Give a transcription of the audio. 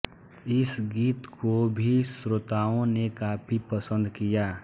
इस गीत को भी श्रोताओं ने काफी पसंद किया